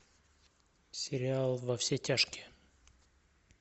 сериал во все тяжкие